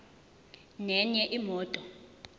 nenye imoto